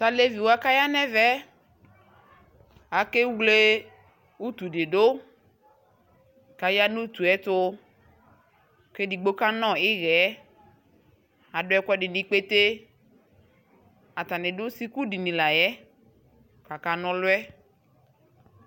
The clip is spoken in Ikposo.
Tu aleviwa ku aya nu ɛvɛ yɛ akewle utu di du ku aya nu utu yɛ tu Ku edigbo kanɔ ihɛ Adu ɛku ɛdi nu ikpete atani du sukudini la yɛ ku akana ɔlu yɛ